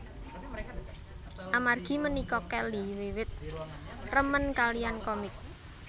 Amargi punika Kelly wiwit remen kaliyan komik